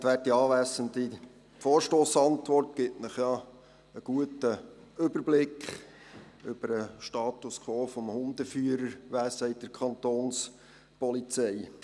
Die Antwort auf den Vorstoss gibt Ihnen einen guten Überblick über den Status quo des Hundeführerwesens bei der Kantonspolizei.